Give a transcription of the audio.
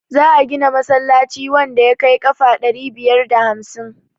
za a gina masallaci wanda ya kai kafa ɗari biyar da hamsin